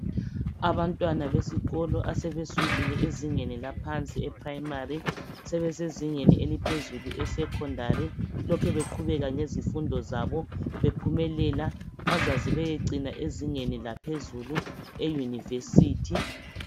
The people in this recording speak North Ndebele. Abantwana besikolo asebesukile ezingeni eliphansi eprimary sebesezingeni eliphezulu esekhondari lokhe bequbeka ngezifundo zabo bephumelela bazaze beyocina ezingeni laphezulu eliyi univesithi